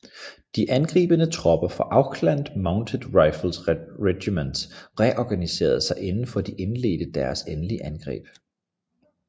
De angribende tropper fra Auckland Mounted Rifles Regiment reorganiserede sig inden de indledte deres endelige angreb